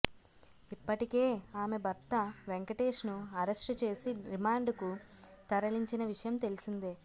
ఇప్పటికే ఆమె భర్త వెంకటేష్ ను అరెస్టు చేసి రిమాండ్ కు తరలించిన విషయం తెలిసిందే